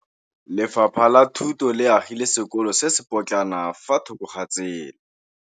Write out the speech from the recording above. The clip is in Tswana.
Lefapha la Thuto le agile sekôlô se se pôtlana fa thoko ga tsela.